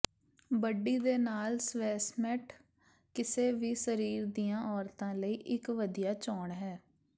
ਬੱਡੀ ਦੇ ਨਾਲ ਸਵੈਸਮੈਟ ਕਿਸੇ ਵੀ ਸਰੀਰ ਦੀਆਂ ਔਰਤਾਂ ਲਈ ਇਕ ਵਧੀਆ ਚੋਣ ਹੈ